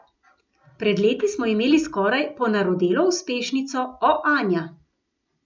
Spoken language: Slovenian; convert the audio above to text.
Pred leti smo imeli skoraj ponarodelo uspešnico O, Anja.